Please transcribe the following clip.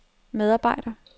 medarbejder